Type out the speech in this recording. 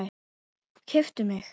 Keyptu mig?